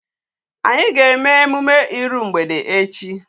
Anyị ga-eme emume iru mgbede echi.